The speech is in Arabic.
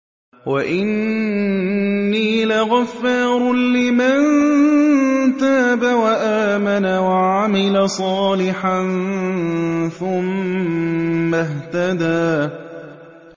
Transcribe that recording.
وَإِنِّي لَغَفَّارٌ لِّمَن تَابَ وَآمَنَ وَعَمِلَ صَالِحًا ثُمَّ اهْتَدَىٰ